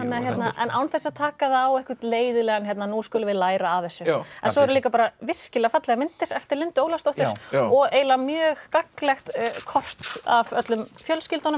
en án þess að taka það á einhvern leiðinlegan nú skulum við læra af þessu en svo eru líka virkilega fallegar myndir eftir Lindu Ólafsdóttur og eiginlega mjög gagnlegt kort af öllum fjölskyldunum